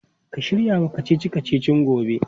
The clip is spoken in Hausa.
Ka shirya wa kacici-kacicin gobe?